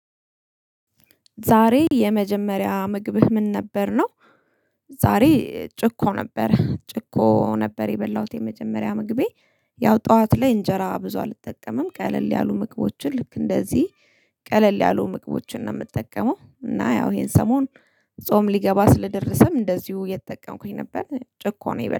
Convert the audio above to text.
ዛሬ የመጀመሪያ ምግብህ ምን ነበር? ነው ዛሬ ጭቆ ነበር። ጭቆ ነበር የበላሁት የመጀመሪያ ምግቤ ያው ጠዋት ላይ እንጀራ ብዙ አልጠቀምም ቀለል ያሉ ምግቦችን ልክ እንደዚህ ቀለል ያሉ ምግቦችን ነው የምጠቀመው እና ያው ይሄን ሰሞን ጾም ሊገባ ስለደረሰም እንደዚሁ እየተጠቀምኩኝ ነበር ጭቆ ነው የበላሁት።